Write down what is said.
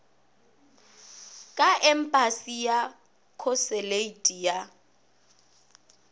ka empasi le khosuleiti ya